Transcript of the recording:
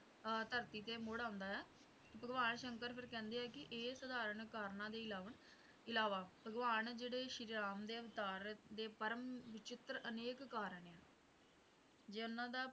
ਅਹ ਧਰਤੀ ਤੇ ਮੁੜ ਆਉਂਦਾ ਹੈ ਭਗਵਾਨ ਸ਼ੰਕਰ ਫੇਰ ਕਹਿੰਦੇ ਹੈਂ ਵੀ ਇਹ ਸਧਾਰਨ ਕਾਰਨਾਂ ਦੇ ਇਲਾਵਾ ਭਗਵਾਨ ਜਿਹੜੇ ਸ਼੍ਰੀ ਰਾਮ ਦੇ ਅਵਤਾਰ ਦੇ ਪਰਮ ਵਿਚਿੱਤ੍ਰ ਅਨੇਕ ਕਾਰਨ ਹੈ ਜੇ ਉਨ੍ਹਾਂ ਦਾ